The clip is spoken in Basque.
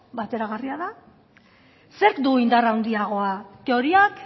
bateragarria da zerk du indar handiagoa teoriak